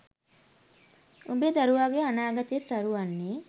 උඹේ දරුවාගේ අනාගතය සරු වන්නේ